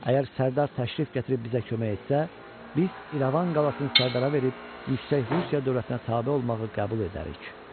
Əgər Sərdar təşrif gətirib bizə kömək etsə, biz İrəvan qalasını Sərdara verib yüksək Rusiya dövlətinə tabe olmağı qəbul edərik.